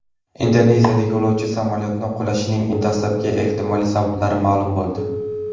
Indoneziyada yo‘lovchi samolyoti qulashining dastlabki ehtimoliy sababi ma’lum bo‘ldi.